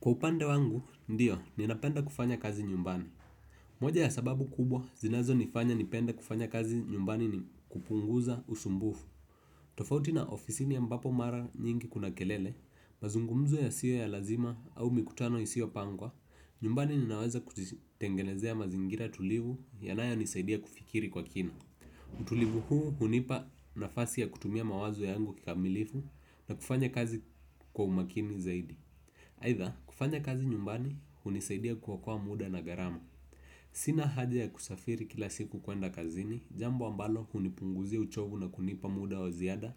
Kwa upande wangu, ndiyo, ninapenda kufanya kazi nyumbani. Moja ya sababu kubwa, zinazo nifanya nipende kufanya kazi nyumbani ni kupunguza usumbufu. Tofauti na ofisini ambapo mara nyingi kuna kelele, mazungumzo ya siyo ya lazima au mikutano isio pangwa, nyumbani ninaweza kujitengenezea mazingira tulivu yanayo nisaidia kufikiri kwa kina. Utulivu huu hunipa nafasi ya kutumia mawazo yangu kikamilifu na kufanya kazi kwa umakini zaidi. Aidha kufanya kazi nyumbani hunisaidia kuokoa muda na gharama. Sina haja ya kusafiri kila siku kwenda kazini. Jambo ambalo hunipunguzia uchovu na kunipa muda wa ziada